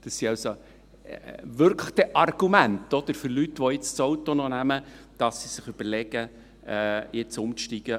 Das sind also wirklich Argumente für Leute, die jetzt noch das Auto nehmen, sich zu überlegen, jetzt auf den ÖV umzusteigen.